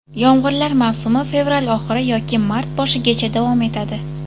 Yomg‘irlar mavsumi fevral oxiri yoki mart boshigacha davom etadi.